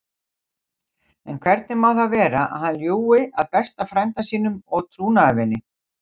En hvernig má það vera að hann ljúgi að besta frænda sínum og trúnaðarvini?